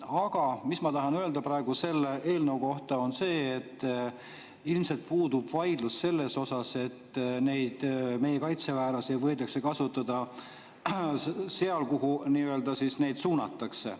Aga mis ma tahan selle eelnõu kohta öelda, on see, et ilmselt puudub vaidlus selle üle, et meie kaitseväelasi võidakse kasutada seal, kuhu neid nii-öelda suunatakse.